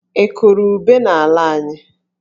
Ị kụrụ ube n'ala anyị?